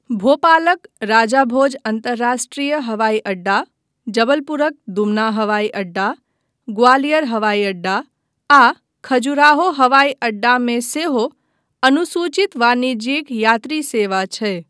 भोपालक राजा भोज अन्तर्राष्ट्रीय हवाई अड्डा, जबलपुरक दुमना हवाई अड्डा, ग्वालियर हवाई अड्डा आ खजुराहो हवाई अड्डा मे सेहो अनुसूचित वाणिज्यिक यात्री सेवा छै।